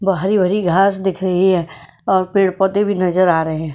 वो हरी भरी घास दिख रही है और पेड़-पौधे भी नजर आ रहे हैं।